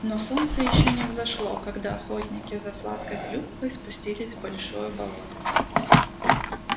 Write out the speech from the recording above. но солнце ещё не взошло когда охотники за сладкой клюквой спустились в большое болото